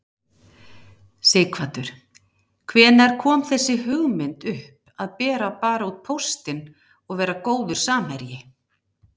Sighvatur: Hvenær kom þessi hugmynd upp að bera bara út póstinn og vera góður samherji?